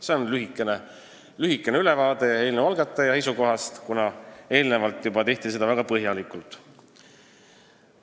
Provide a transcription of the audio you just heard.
See oli lühike ülevaade eelnõu algataja esindaja seisukohast, mida juba eelnevalt väga põhjalikult tutvustati.